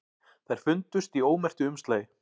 Þær fundust í ómerktu umslagi